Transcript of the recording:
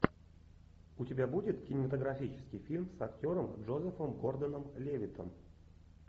у тебя будет кинематографический фильм с актером джозефом гордоном левиттом